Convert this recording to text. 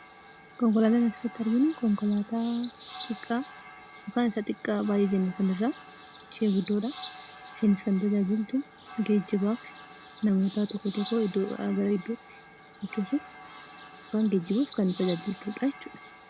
Konkolaataan asirratti arginu konkolaataa isa baay'ee xiqqaa jennu sanarraa ishee guddoodha. Isheenis kan tajaajiltu geejjibaaf nama iddoo tokko irraa iddoo biraatti geejjibuuf kan tajaajiltudhaa jechuudha.